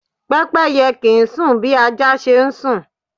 Pẹ́pẹ́yẹ kì ń sún bí ajá ṣe ń sùn.